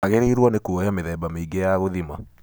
Wangĩrĩirwo nĩ kuoya mĩthemba mĩingĩ ya gũthima.